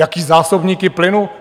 Jaké zásobníky plynu?